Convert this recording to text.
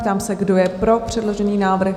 Ptám se, kdo je pro předložený návrh?